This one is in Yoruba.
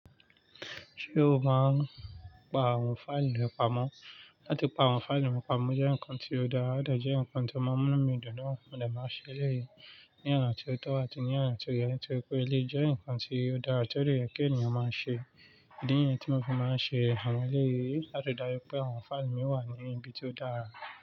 Ṣé o máa ń pa àwọn fáìlì rẹ pamọ́? Látí pa àwọn fáìlì mi pamọ́ jẹ́ ǹkan tó dára, ó dẹ̀jẹ́ ǹkan tó màa n munun mí dùn náà. Mo dẹ̀ máa ń ṣe èléyìí ní ọ̀nà tó tọ́ àti ní ọ̀nà tó yẹ, torí pé èléyii jẹ́ ǹkan tó dára todẹ́ yẹ̀ kí ènìyàn máa ṣe. Ìdí niyẹ tí mo fi máa ń ṣe àwọn eléyìí láti ri dáju pé àwọn fáìlì mi wà ní ibi tó dára.